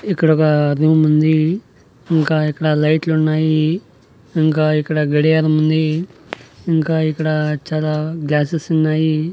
ఇక్కడ ఒగ రూమ్ ఉంది ఇంకా ఇక్కడ లైట్లు ఉన్నాయి ఇంకా ఇక్కడ గడియారం ఉంది ఇంకా ఇక్కడ చాలా గ్యాసెస్ ఉన్నాయి.